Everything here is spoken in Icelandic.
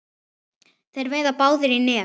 Þeir veiða báðir í net.